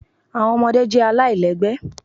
Awọn ọmọde jẹ alailẹgbẹ